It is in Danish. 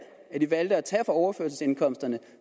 valg at tage fra overførselsindkomsterne